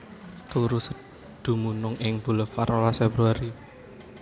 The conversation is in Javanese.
Dumunung ing Bulevar rolas Februari